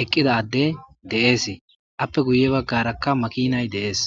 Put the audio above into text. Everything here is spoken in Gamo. eqqidadde deeesii appe guye baggarakka makinay deees